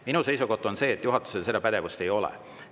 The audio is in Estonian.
Minu seisukoht on see, et juhatusel seda pädevust ei ole.